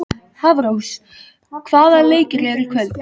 Hafrós, hvaða leikir eru í kvöld?